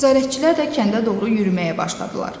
Nəzarətçilər də kəndə doğru yürüməyə başladılar.